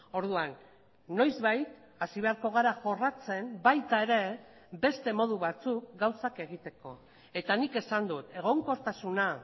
orduan noizbait hasi beharko gara jorratzen baita ere beste modu batzuk gauzak egiteko eta nik esan dut egonkortasuna